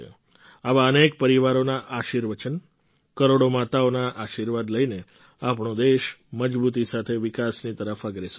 આવા અનેક પરિવારોનાં આશીર્વચન કરોડો માતાઓના આશીર્વાદ લઈને આપણો દેશ મજબૂતી સાથે વિકાસની તરફ અગ્રેસર છે